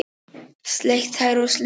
Sleikt tær og slefað.